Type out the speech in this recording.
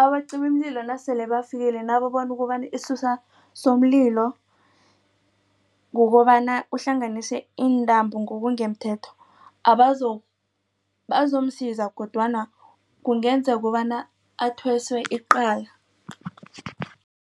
abacimimlilo nasele bafakile nababona ukobana isisusa somlilo kukobana uhlanganise intambo ngokungemthetho bazomsiza kodwana kungenza kobana athweswe icala.